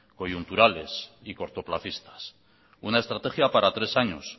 coyunturales y cortoplacistas una estrategia para tres años